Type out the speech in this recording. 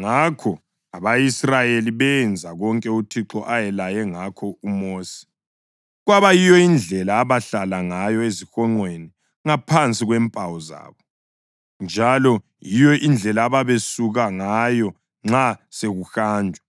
Ngakho abako-Israyeli benza konke uThixo ayelaye ngakho uMosi; kwaba yiyo indlela abahlala ngayo ezihonqweni ngaphansi kwempawu zabo, njalo yiyo indlela ababesuka ngayo nxa sekuhanjwa,